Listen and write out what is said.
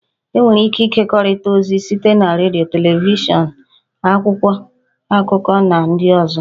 E nwere ike ịkekọrịta ozi site na redio, televishọn, akwụkwọ akụkọ, na ndị ọzọ